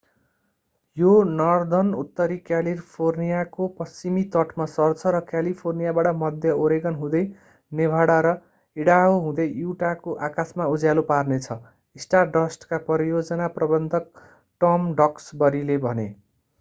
यो नर्धर्नउत्तरी क्यालिफोर्नियाको पश्चिमी तटमा सर्छ र क्यालिफोर्नियाबाट मध्य ओरेगन हुँदै नेभाडा र ईडाहो हुँदै युटाको आकाशमा उज्यालो पार्नेछ स्टारडस्टका परियोजना प्रबन्धक टम डक्सबरीले भने